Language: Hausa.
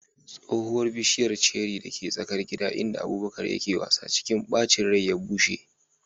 Tsohuwar bishiyar ceri dake tsakar gida inda Abubakar yake wasa, cikin bacin rai ya bushe.